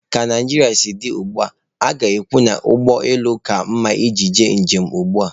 Ka Naijiria siri dị ugbua, a ga-ekwu na ụgbọ elu ka mma iji ga njem ugbua.